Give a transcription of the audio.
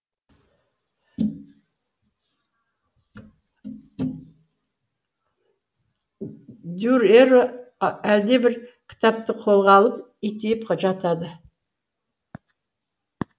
дүрэрэ әлдебір кітапты қолға алып итиіп жатады